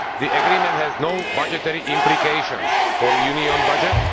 The agreement has no budgetary implications for the Union budget